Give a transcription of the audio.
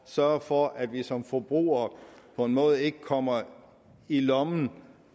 sørge for at vi som forbrugere på en måde ikke kommer i lommen